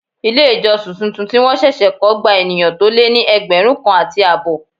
Ilé ìjọsìn tuntun tí wọn ṣẹ̀ṣẹ̀ kọ gba ènìyàn tó lé ní ẹgbẹ̀rún kan àti àbọ̀.